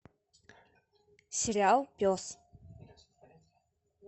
сериал пес